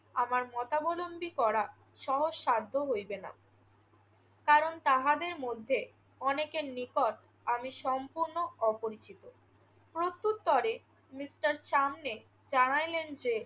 আমার মতাবলম্বী করা সহজসাধ্য হইবে না। কারণ তাহাদের মধ্যে অনেকের নিকট আমি সম্পূর্ণ অপরিচিত। প্রত্যুত্তরে মিস্টার সামনেল জানাইলেন যে